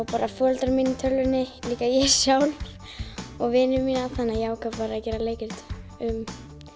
bara foreldra mína í tölvunni líka ég sjálf og vini mína þannig ég ákvað að gera leikrit um